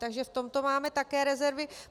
Takže v tomto máme také rezervy.